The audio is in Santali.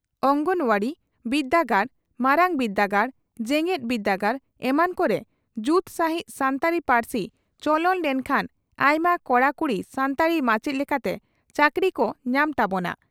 ᱚᱸᱝᱜᱚᱱᱟᱣᱟᱲᱤ ,ᱵᱤᱨᱫᱟᱹᱜᱟᱲ, ᱢᱟᱨᱟᱝ ᱵᱤᱨᱫᱟᱹᱜᱟᱲ ᱡᱮᱜᱮᱛ ᱵᱤᱨᱫᱟᱹᱜᱟᱲ ᱮᱢᱟᱱ ᱠᱚᱨᱮ ᱡᱩᱛ ᱥᱟᱹᱦᱤᱡ ᱥᱟᱱᱛᱟᱲᱤ ᱯᱟᱹᱨᱥᱤ ᱪᱚᱞᱚᱱ ᱞᱮᱱ ᱠᱷᱟᱱ ᱟᱭᱢᱟ ᱠᱚᱲᱟ ᱠᱩᱲᱤ ᱥᱟᱱᱛᱟᱲᱤ ᱢᱟᱪᱮᱛ ᱞᱮᱠᱟᱛᱮ ᱪᱟᱹᱠᱨᱤ ᱠᱚ ᱧᱟᱢ ᱛᱟᱵᱚᱱᱟ ᱾